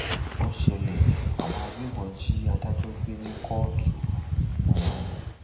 ó ṣẹlẹ àwọn agbébọn jí adájọ gbé ní kóòtù um